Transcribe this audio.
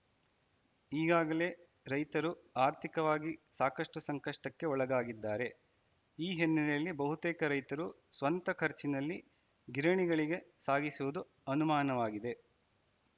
ಈಗಾಗಲೇ ರೈತರು ಆರ್ಥಿಕವಾಗಿ ಸಾಕಷ್ಟುಸಂಕಷ್ಟಕ್ಕೆ ಒಳಗಾಗಿದ್ದಾರೆ ಈ ಹಿನ್ನೆಲೆಯಲ್ಲಿ ಬಹುತೇಕ ರೈತರು ಸ್ವಂತ ಖರ್ಚಿನಲ್ಲಿ ಗಿರಣಿಗಳಿಗೆ ಸಾಗಿಸುವುದು ಅನುಮಾನವಾಗಿದೆ